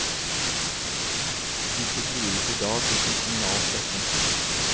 Disse drives i dag uten kommunal støtte.